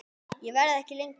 Ég verð ekki lengi